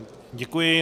Děkuji.